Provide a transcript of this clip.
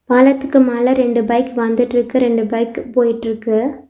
பாலத்துக்கு மேல ரெண்டு பைக்கு வந்துட்டு இருக்கு. ரெண்டு பைக்கு போயிட்ருக்கு.